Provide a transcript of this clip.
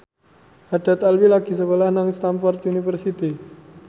Haddad Alwi lagi sekolah nang Stamford University